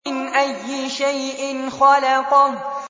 مِنْ أَيِّ شَيْءٍ خَلَقَهُ